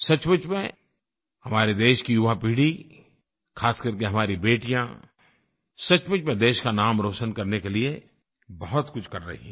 सचमुच में हमारे देश की युवा पीढ़ी ख़ासकर के हमारी बेटियाँ सचमुच में देश का नाम रोशन करने के लिए बहुतकुछ कर रही हैं